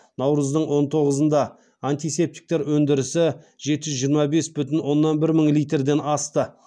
наурыздың он тоғызында антисептиктер өнідірісі жеті жүз жиырма бес бүтін оннан бір мың литрден асты